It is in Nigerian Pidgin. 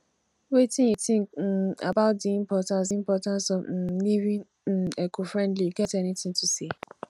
wetin you think um about di importance di importance of um living um ecofriendly you get any thing to say